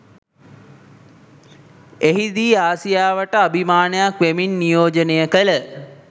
එහිදී ආසියාවට අභිමානයක් වෙමින් නියෝජනය කළ